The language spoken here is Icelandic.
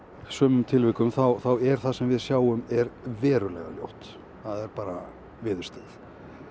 sumum tilvikum þá er það sem við sjáum verulega ljótt það er bara viðurstyggð